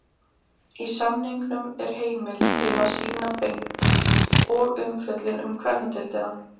Í samningnum er heimild til að sýna beint og umfjöllun um kvennadeildina.